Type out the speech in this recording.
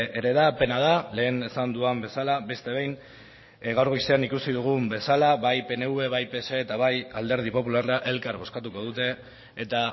ere da pena da lehen esan dudan bezala beste behin gaur goizean ikusi dugun bezala bai pnv bai pse eta bai alderdi popularra elkar bozkatuko dute eta